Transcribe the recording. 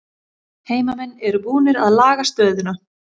Heimamenn eru búnir að laga stöðuna